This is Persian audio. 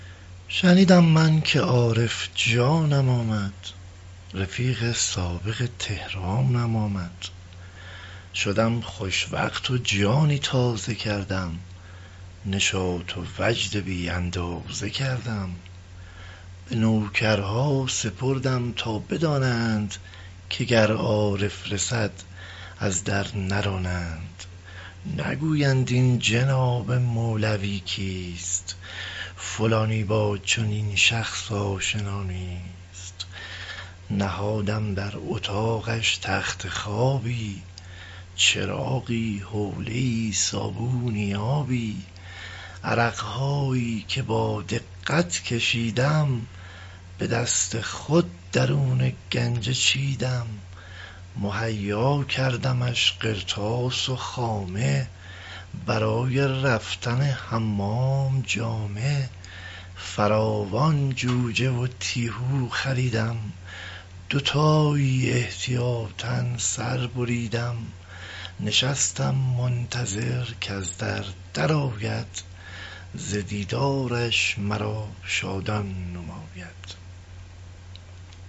شنیدم من که عارف جانم آمد رفیق سابق طهرانم آمد شدم خوشوقت و جانی تازه کردم نشاط و وجد بی اندازه کردم به نوکرها سپردم تا بدانند که گر عارف رسد از در نرانند نگویند این جناب مولوی کیست فلانی با چنین شخص آشنا نیست نهادم در اطاقش تخت خوابی چراغی حوله ای صابونی آبی عرق هایی که با دقت کشیدم به دست خود درون گنجه چیدم مهیا کردمش قرطاس و خامه برای رفتن حمام جامه فراوان جوجه و تیهو خریدم دوتایی احتیاطا سر بریدم نشستم منتظر کز در در آید ز دیدارش مرا شادان نماید